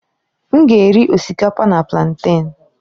M ga-eri osikapa na plantèn.